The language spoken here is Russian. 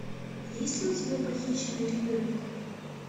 есть ли у тебя похищенный ребенок